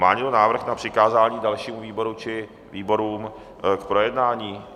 Má někdo návrh na přikázání dalšímu výboru či výborům k projednání?